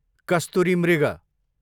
कस्तुरी मृग